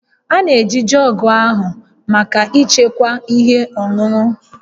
A na-eji jọọgụ ahụ maka ịchekwa ihe ọṅụṅụ